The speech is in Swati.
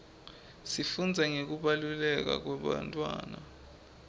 sifundza nangekubelekwa kwebantfwana